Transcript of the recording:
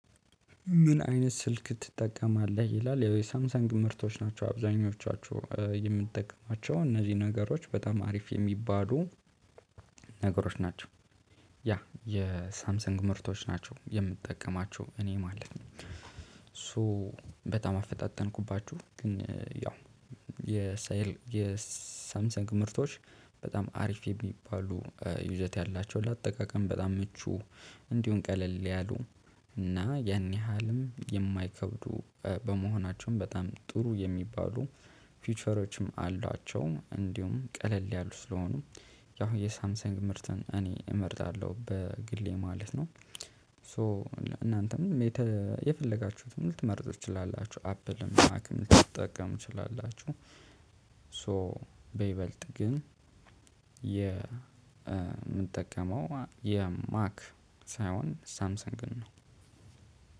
ምን? አይነት ስልክ ትጠቀማለህ ይላል ያው የሳምሰንግ ምርቶች ናቸው አብዛኞቻቸው የምጠቀማቸው እነዚህ ነገሮች በጣም አሪፍ የሚባሉ ነገሮች ናቸው ያ የሳምሰንግ ምርቶች ናቸው የምጠቀማቸው እኔ ማለት ነው። ሶ በጣም አፈጣጠንኩባችሁ ግን ያው የሳይል የሳምሰንግ ምርቶች በጣም አሪፍ የሚባሉ ይዘት ያላቸው ለአጠቃቀም በጣም ምቹ እንዲሁም ቀለል ያሉ እና ያን ያህልም የማይከብዱ በመሆናቸውም በጣም ጥሩ የሚባሉ ፊውቸሮችም አሏቸው እንዲሁም ቀለል ያሉ ስለሆኑ ያው የሳምሰንግ ምርትን እኔ እመርጣለሁ በግሌ ማለት ነው። ሶ እና እናንተም የተ የፈለጋችሁትን ልትመርጡ ትችላላችሁ አፕልም ማክም ልትጠቀሙ ትችላላችሁ። ሶ በይበልጥ ግን የምጠቀመው የማክ ሳይሆን ሳምሰንግን ነው።